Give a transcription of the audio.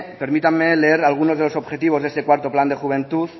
permítame leer algunos de los objetivos de este cuarto plan de juventud